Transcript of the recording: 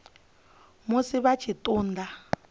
musi vha tshi ṱun ḓa